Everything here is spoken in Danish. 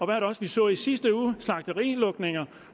det også vi så i sidste uge vi slagterilukninger